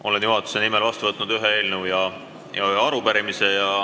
Olen juhatuse nimel vastu võtnud ühe eelnõu ja ühe arupärimise.